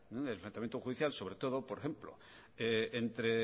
el enfrentamiento judicial sobre todo por ejemplo